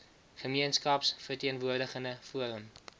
gemeenskaps verteenwoordigende forum